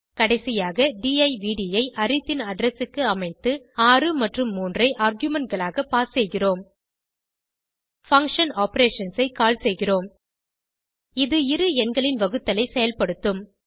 கடைசியாக டிவ்ட் ஐ அரித் ன் அட்ரெஸ் க்கு அமைத்து 6 மற்றும் 3 ஐ ஆர்குமென்ட் களாக பாஸ் செய்கிறோம் பங்ஷன் ஆப்பரேஷன்ஸ் ஐ கால் செய்கிறோம் இது இரு எண்களின் வகுத்தலை செயல்படுத்தும்